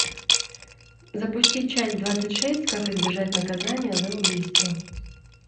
запусти часть двадцать шесть как избежать наказание за убийство